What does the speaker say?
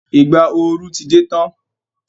Ìgbà ooru ti dé tán.